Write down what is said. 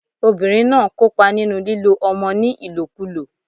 Obìnrin náà n kópa nínú lílo ọmọ ní ìlòkulò